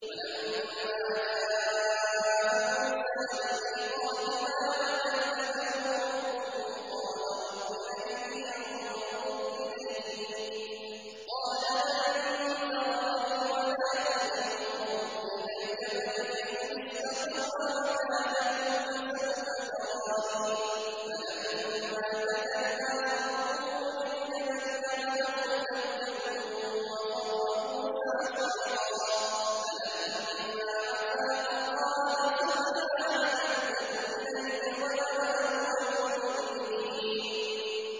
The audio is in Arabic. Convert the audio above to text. وَلَمَّا جَاءَ مُوسَىٰ لِمِيقَاتِنَا وَكَلَّمَهُ رَبُّهُ قَالَ رَبِّ أَرِنِي أَنظُرْ إِلَيْكَ ۚ قَالَ لَن تَرَانِي وَلَٰكِنِ انظُرْ إِلَى الْجَبَلِ فَإِنِ اسْتَقَرَّ مَكَانَهُ فَسَوْفَ تَرَانِي ۚ فَلَمَّا تَجَلَّىٰ رَبُّهُ لِلْجَبَلِ جَعَلَهُ دَكًّا وَخَرَّ مُوسَىٰ صَعِقًا ۚ فَلَمَّا أَفَاقَ قَالَ سُبْحَانَكَ تُبْتُ إِلَيْكَ وَأَنَا أَوَّلُ الْمُؤْمِنِينَ